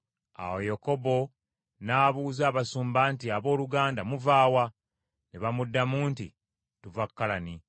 Awo Yakobo n’abuuza abasumba nti, “Abooluganda muva wa?” Ne bamuddamu nti, “Tuva Kalani.”